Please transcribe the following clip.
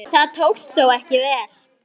Það tókst þó ekki vel.